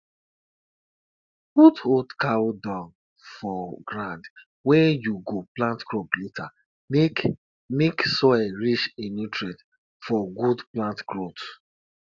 if the animal wey u wan use for sacrifice die before them use am another one must dey ground for sacrifice.